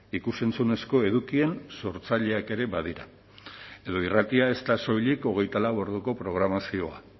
ikus entzunezko edukien sortzaileak ere badira edo irratia ez da soilik hogeita lau orduko programazioa